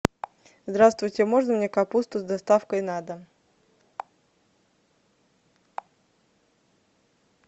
здравствуйте можно мне капусту с доставкой на дом